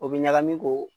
O bɛ ɲagami k'o